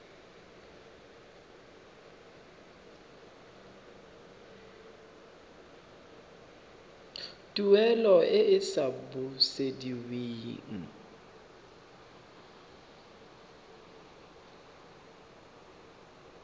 tuelo e e sa busediweng